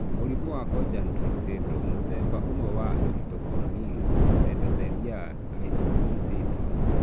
Mũrimũ wa Cogan Reese syndrome mũthemba ũmwe wa Iridocorneal Endothelial (ICE) syndrome.